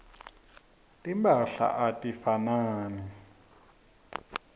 timphahla atifanani